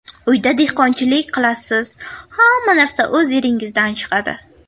Uyda dehqonchilik qilasiz, hamma narsa o‘z yeringizdan chiqadi.